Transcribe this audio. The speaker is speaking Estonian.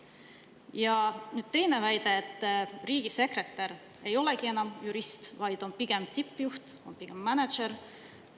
Ja teine väide on, et riigisekretär ei olegi enam jurist, vaid on pigem tippjuht, on pigem mänedžer.